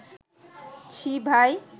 ছি ভাই